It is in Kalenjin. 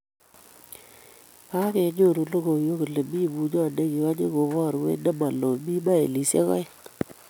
Kagenyoru logoiywek kole mi bunyot neigonyi kobarwech ne maloo mi mailishek aeng---